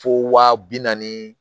Fo wa bi naani